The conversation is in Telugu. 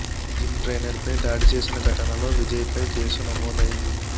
జిమ్ ట్రైనర్ పై దాడి చేసిన ఘటనలో విజయ్ పై కేసు నమోదైంది